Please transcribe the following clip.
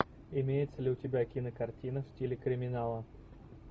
имеется ли у тебя кинокартина в стиле криминала